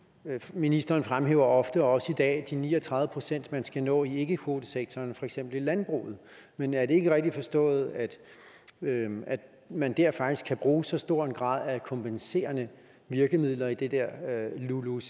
ministeren fremhæver ofte og også i dag de ni og tredive pct man skal nå i ikkekvotesektoren for eksempel i landbruget men er det ikke rigtigt forstået at man der faktisk kan bruge så stor en grad af kompenserende virkemidler i det der lulucf